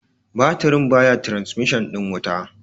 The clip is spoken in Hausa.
batirin baya trasmishin ɗin wuta